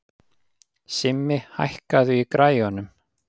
Simmi, hækkaðu í græjunum.